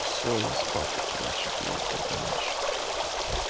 все я спаты короче блять добранич